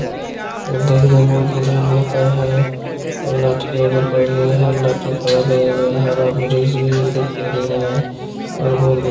देखने में बहुत बढ़िया लगता हैं और लाठी मे रोपा गया है लाठी हरा वृक्ष भी दिखाया गया हैं और बहुत बढ़िया ----